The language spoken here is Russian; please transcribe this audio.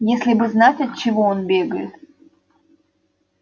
если бы знать от чего он бегает